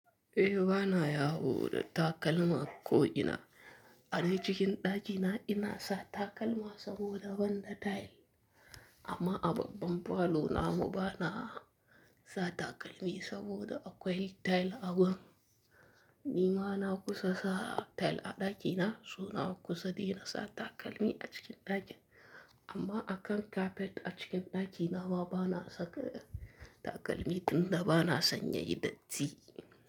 Eh bana yawo da takalma ko ina. A dai cikin ɗakina ina sa takalma saboda banda tile. Amma a babban falo na mu bana sa takalmi saboda akwai tile a gun nimana kusa sa tile a ɗakina so nakusa dai na sa takalmi a cikin ɗaki. Amma akan kafet a cikin ɗakina ma bana saka takalmi tun da bana sanya hidatci.